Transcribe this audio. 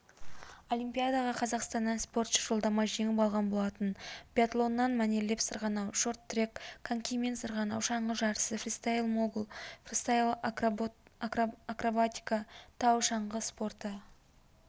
олимпиадаға қазақстаннан спортшы жолдама жеңіп алған болатын биатлоннан мәнерлеп сырғанау шорт-трек конькимен сырғанау шаңғы жарысы фристайл-могул фристайл-акробатика тау шаңғы спорты трамплиннен